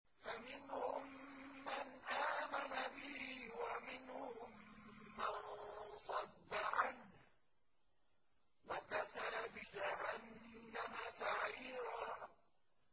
فَمِنْهُم مَّنْ آمَنَ بِهِ وَمِنْهُم مَّن صَدَّ عَنْهُ ۚ وَكَفَىٰ بِجَهَنَّمَ سَعِيرًا